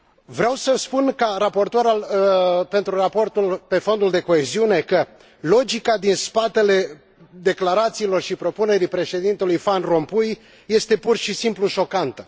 Vreau să spun, ca raportor pentru raportul privind Fondul de coeziune, că logica din spatele declarațiilor și propunerii Președintelui Van Rompuy este, pur și simplu, șocantă.